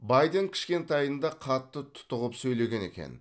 байден кішкентайында қатты тұтығып сөйлеген екен